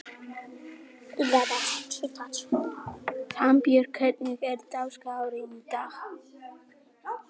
Sæbjörg, hvernig er dagskráin í dag?